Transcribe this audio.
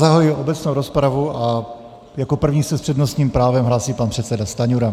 Zahajuji obecnou rozpravu a jako první se s přednostním právem hlásí pan předseda Stanjura.